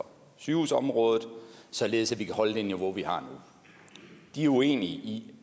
sygehusområdet således at vi kan holde det niveau vi har nu de er uenige i